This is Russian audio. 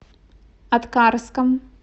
аткарском